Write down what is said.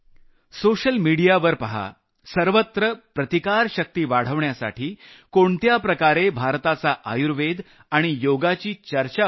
social मिडियावर पहा सर्वत्र प्रतिकारशक्ति वाढवण्यासाठी कशा प्रकारे भारताच्या आयुर्वेद आणि योगाची चर्चा होत आहे